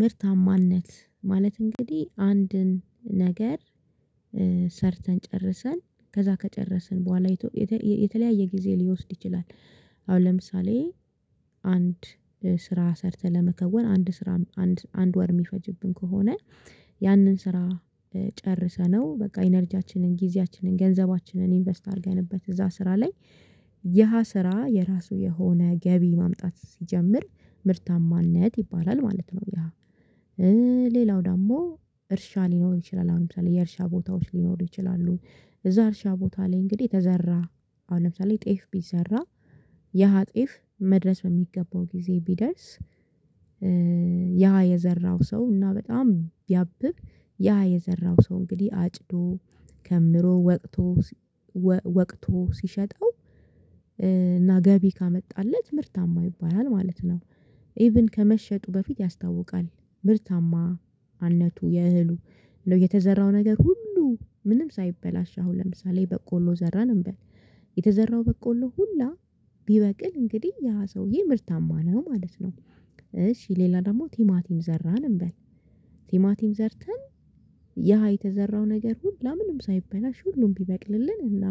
ምርታማነት ማለት እንግዲህ አንድን ነገር ሰርተን ጨርሰን ከዛ ከጨረስን በኋላ የተለያየ ጊዜ ሊወስድ ይችላል። አሁን ለምሳሌ አንድ ስራ ሰርተህ ለመከወን አንድ ስራ አንድ ወር የሚፈጅብን ከሆነ ያንን ስራ ጨርሰነው በቃ ኢነርጂያችንን ጊዜያችንን ገንዘባችንን ኢንቨስት አድርገንበት እዛ ስራ ላይ ያ ስራ የራሱ የሆነ ገቢ ማምጣት ሲጀምር ምርታማነት ይባላል ማለት ነው። የሃ ሌላው ደግሞ እርሻ ሊኖር ይችላል አሁን ለምሳሌ የእርሻ ቦታዎች ሊኖሩ ይችላሉ እዛ እርሻ ቦታ ላይ እንግዲህ የተዘራ አሁን ለምሳሌ ጤፍ ቢዘራ የሀጤፍ መድረስ በሚገባው ጊዜ ቢደርስ ያ የዘራው ሰው እና በጣም ቢያብብ ያ የዘራው ሰው እንግዲህ አጭዶ ከምሮ ወቅቶ ወቅቶ ሲሸጠው እና ገቢ ካመጣለት ምርታማ ይባላል ማለት ነው። ኢቭን ከመሸጡ በፊት ያስታውቃል ምርታማነቱ የእህሉ እንደው የተዘራው ነገር ሁሉ ምንም ሳይበላሽ አሁን ለምሳሌ በቆሎ ዘራን እንበል። የተዘራው በቆሎ ሁላ ቢበቅል እንግዲህ ያ ሰውዬ ምርታማ ነው ማለት ነው። እሺ ሌላ ደግሞ ቲማቲም ዘራን እንበል። ቲማቲም ዘርተን ያ የተዘራው ነገር ሁላ ምንም ሳይበላሽ ሁሉም ቢበቅልልን እና